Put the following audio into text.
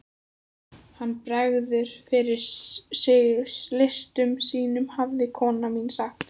Hann bregður fyrir sig listum sínum hafði kona mín sagt.